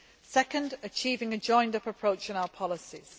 Second, achieving a joined up approach in our policies.